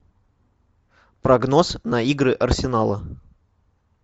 прогноз на игры арсенала